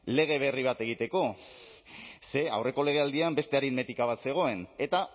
lege berri bat egiteko ze aurreko legealdian beste aritmetika bat zegoen eta